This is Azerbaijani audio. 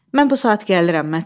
Mən bu saat gəlirəm,